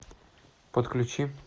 подключи